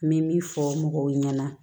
N bɛ min fɔ mɔgɔw ɲɛna